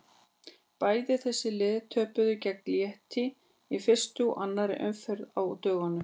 Bæði þessi lið töpuðu gegn Létti í fyrstu og annarri umferðinni á dögunum.